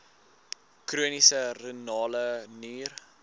chroniese renale nier